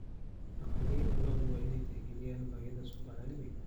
Dhaqanleyda lo'du waa inay tixgeliyaan baahida suuqa caalamiga ah.